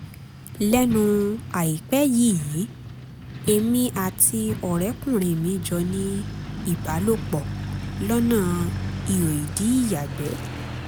lẹ́nu àìpẹ́ yìí èmi àti ọ̀rẹ́kùnrin mi jọ ní ìbálòpọ̀ lọ́nà iho-ìdí ìyàgbẹ́